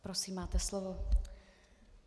Prosím, máte slovo.